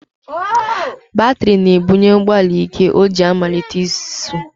Batịrị na-ebunye ụgbọala íké o ji amalite ịsụ.